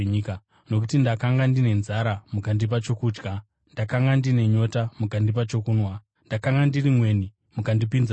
Nokuti ndakanga ndine nzara mukandipa chokudya, ndakanga ndine nyota, mukandipa chokunwa, ndakanga ndiri mweni mukandipinza mumba,